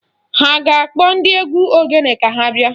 Ha a ga-akpọ ndị egwu ogene ka ha bịa?